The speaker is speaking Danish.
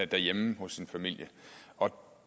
derhjemme hos sin familie og